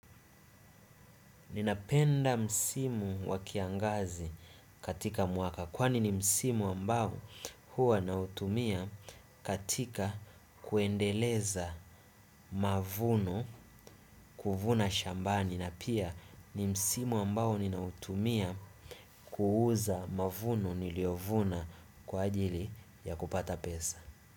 Ninapenda msimu wa kiangazi katika mwaka kwani ni msimu ambao huwa nautumia katika kuendeleza mavuno kuvuna shambani na pia ni msimu ambao ninautumia kuuza mavuno niliovuna kwa ajili ya kupata pesa.